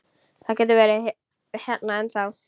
Hann getur verið hérna ennþá.